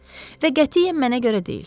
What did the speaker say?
Və qətiyyən mənə görə deyil.